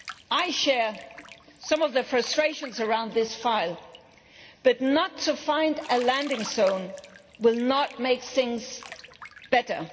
I share some of the frustrations around this file, but not to find a landing zone will not make things better.